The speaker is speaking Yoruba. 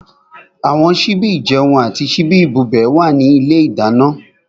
Àwọn síbí ìjẹun àti síbí ìbubẹ̀ wà ní ilé ìdáná.